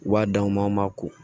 U b'a d'anw ma an ma ko